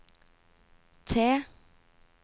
T